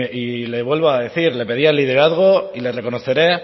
y le vuelvo a decir le pedía el liderazgo y le reconoceré